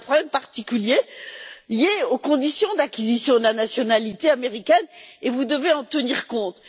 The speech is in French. Il existe un problème particulier lié aux conditions d'acquisition de la nationalité américaine, et vous devez en tenir compte.